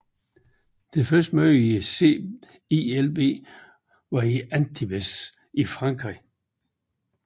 Det første møde i CILB var i Antibes i Frankrig